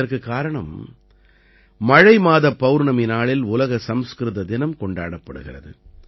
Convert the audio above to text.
இதற்குக் காரணம் மழைமாதப் பௌர்ணமி நாளில் உலக சம்ஸ்கிருத தினம் கொண்டாடப்படுகிறது